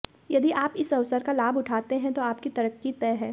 यदि आप इस अवसर का लाभ उठाते हैं तो आपकी तरक्की तय है